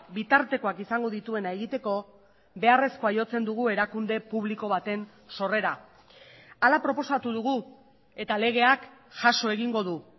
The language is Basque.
bitartekoak izango dituena egiteko beharrezkoa jotzen dugu erakunde publiko baten sorrera hala proposatu dugu eta legeak jaso egingo du